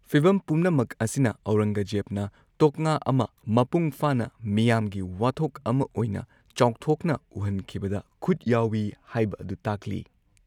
ꯐꯤꯚꯝ ꯄꯨꯝꯅꯃꯛ ꯑꯁꯤꯅ ꯑꯧꯔꯪꯒꯖꯦꯕꯅ ꯇꯣꯛꯉꯥ ꯑꯃ ꯃꯄꯨꯡ ꯐꯥꯅ ꯃꯤꯌꯥꯝꯒꯤ ꯋꯥꯊꯣꯛ ꯑꯃ ꯑꯣꯏꯅ ꯆꯥꯎꯊꯣꯛꯅ ꯎꯍꯟꯈꯤꯕꯗ ꯈꯨꯠ ꯌꯥꯎꯏ ꯍꯥꯏꯕ ꯑꯗꯨ ꯇꯥꯛꯂꯤ꯫